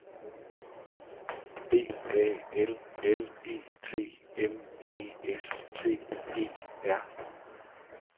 B A L L E T M E S T E R